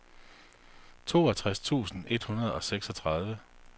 toogtres tusind et hundrede og seksogtredive